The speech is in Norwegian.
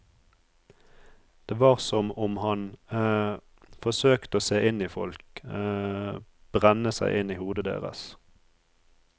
Det var som om han forsøkte å se inn i folk, brenne seg inn i hodet deres.